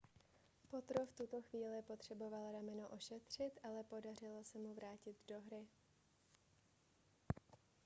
potro v tuto chvíli potřeboval rameno ošetřit ale podařilo se mu vrátit se do hry